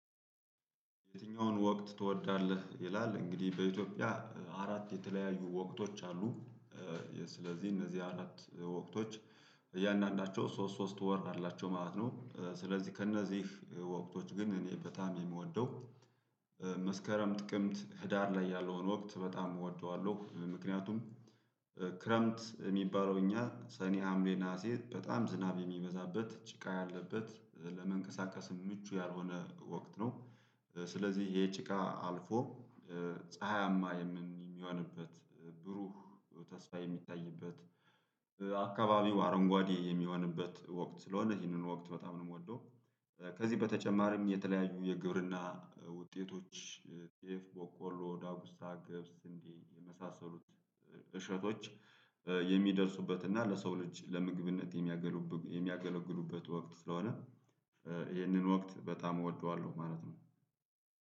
የትኛውን ወቅት ትወዳለህ? ይላል እንግዲህ በኢትዮጵያ አራት የተለያዩ ወቅቶች አሉ ስለዚህ እነዚህ አራት ወቅቶች እያንዳንዳቸው ሶስት ሶስት ወር አላቸው ማለት ነው። ስለዚህ ከእነዚህ ወቅቶች ግን እኔ በጣም የምወደው መስከረም ጥቅምት ህዳር ላይ ያለውን ወቅት በጣም እወደዋለሁ። ምክንያቱም ክረምት የሚባለው እኛ ሰኔ ሀምሌ ነሀሴ በጣም ዝናብ የሚበዛበት ጭቃ ያለበት ለመንቀሳቀስ ምቹ ያልሆነ ወቅት ነው። ስለዚህ ይሄ ጭቃ አልፎ ፀሀያማ የሚሆንበት ብሩህ ተስፋ የሚታይበት አካባቢው አረንጓዴ የሚሆንበት ወቅት ስለሆነ ይህንን ወቅት በጣም ነው የምወደው። ከዚህ በተጨማሪም የተለያዩ የግብርና ውጤቶች ጤፍ ቦቆሎ ዳጉሳ ግብስ እንዲህ የመሳሰሉት እሸቶች የሚደርሱበት እና ለሰው ልጅ ለምግብነት የሚያገለግሉበት ወቅት ስለሆነ። ይህንን ወቅት በጣም እወደዋለሁ ማለት ነው።